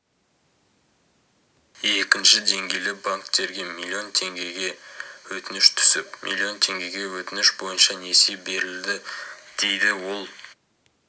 екінші деңгейлі банктерге миллион теңгеге өтініш түсіп миллион теңгеге өтініш бойынша несие берілді дейді ол